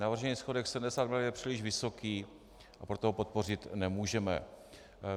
Navržený schodek 70 mld. je příliš vysoký, a proto ho podpořit nemůžeme.